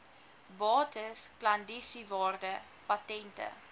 bates klandisiewaarde patente